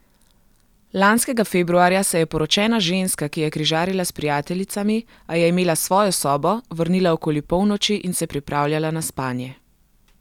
Lanskega februarja se je poročena ženska, ki je križarila s prijateljicami, a je imela svojo sobo, vrnila okoli polnoči in se pripravljala na spanje.